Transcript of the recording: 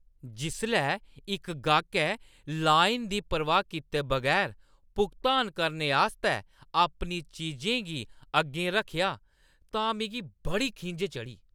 जिसलै इक गाह्कै लाइन दी परवाह् कीते बगैर भुगतान करने आस्तै अपनी चीजें गी अग्गें रक्खेआ तां मिगी बड़ी खिंझ चढ़ी।